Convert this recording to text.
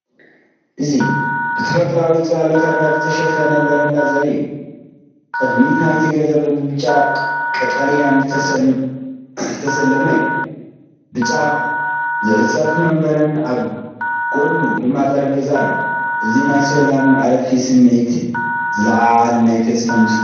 እዚ ብተፈጥሮኣዊ ጽላሎት ኣግራብ ዝተሸፈነ በረንዳ ዘርኢ እዩ። ቅድሚት ናይቲ ገዛ ብብጫን ቀጠልያን ዝተሰለመ ኮይኑ፡ ብጫ ዝዕጸፍ መንበርን ኣብ ጎድኑ ድማ ጠረጴዛን ኣሎ። እዚ ናይ ሰላምን ዕረፍትን ስምዒት ዝለዓዓል ናይ ተስፋ ምስሊ እዩ።